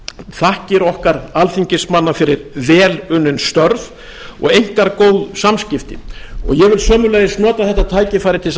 þakkir okkar alþingismanna fyrir vel unnin störf og einkar góð samskipti ég vil sömuleiðis nota þetta tækifæri til þess að